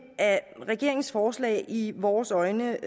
regeringens forslag i vores øjne